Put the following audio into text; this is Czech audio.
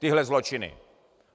Tyhle zločiny.